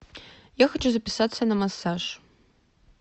я хочу записаться на массаж